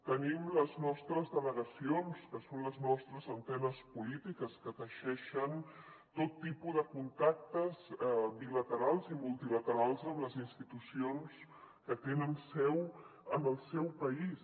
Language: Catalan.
tenim les nostres delegacions que són les nostres antenes polítiques que teixeixen tot tipus de contactes bilaterals i multilaterals amb les institucions que tenen seu en el seu país